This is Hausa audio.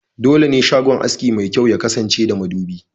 Dole ne shagon aski mai kyau ya kasance da madubi*